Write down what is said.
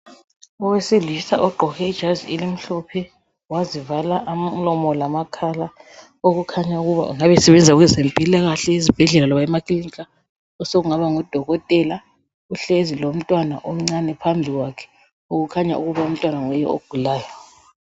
Owesilisa ogqoke ijazi elimhlophe wazivala umlomo lamakhala okukhanya ukuba engabe esebenza kwezempilakahle ezibhedlela loba emakilinika osokungaba ngudokotela uhlezi lomntwana omncane phambi kwakhe. Okukhanya ukuthi umntwana nguye ogulayo.